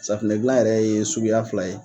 Safunɛ dilan yɛrɛ ye suguya fila ye.